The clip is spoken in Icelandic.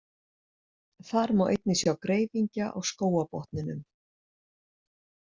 Þar má einnig sjá greifingja á skógarbotninum.